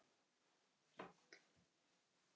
Hvaða Ellen?